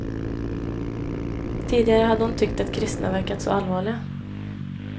Tidigare hade hon tyckt att kristna verkat så allvarliga.